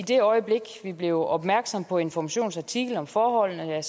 det øjeblik vi blev opmærksomme på informations artikel om forholdene